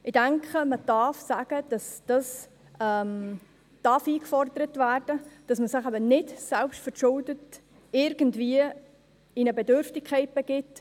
Ich denke, man darf sagen, dass eingefordert werden darf, dass man sich eben nicht selbstverschuldet irgendwie in eine Bedürftigkeit begibt.